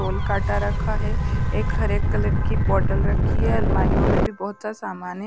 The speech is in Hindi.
रोल काटा रखा है एक हरे कलर की बोतल रखी है अलमारियों में भी बहुत सा सामान है।